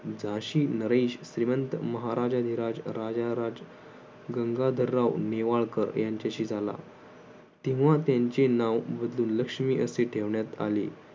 झाशी नरेश श्रीमंत श्रीमंत महाराजाधिराज राजाधिराज गंगाधरराव नेवाळकर यांच्याशी झाला तेव्हा त्यांचे नाव लक्ष्मी असे ठेवण्यात आले